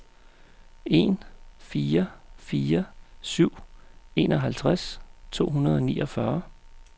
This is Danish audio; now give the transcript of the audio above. en fire fire syv enoghalvtreds to hundrede og niogfyrre